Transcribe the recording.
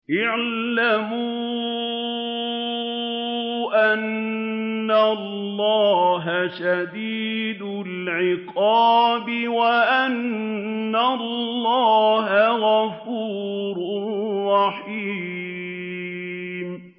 اعْلَمُوا أَنَّ اللَّهَ شَدِيدُ الْعِقَابِ وَأَنَّ اللَّهَ غَفُورٌ رَّحِيمٌ